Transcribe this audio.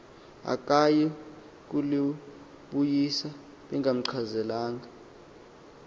akayi kulibuyisa bengamchazelanga